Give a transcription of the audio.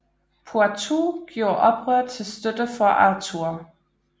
Poitou gjorde oprør til støtte for Arthur